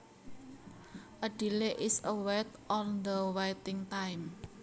A delay is a wait or the waiting time